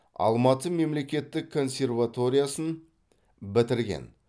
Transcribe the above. алматы мемлекеттік консерваториясын бітірген